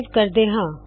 save ਕਰਦੇ ਹਾ